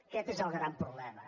aquest és el gran problema